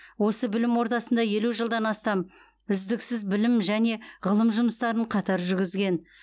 осы білім ордасында елу жылдан астам үздіксіз білім және ғылым жұмыстарын қатар жүргізген